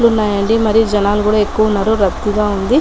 ఉన్నాయాండీ మరీ జనాలు కూడా ఎక్కువ ఉన్నారు రద్దీ గా ఉంది.